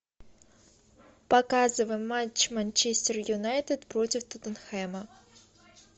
показывай матч манчестер юнайтед против тоттенхэма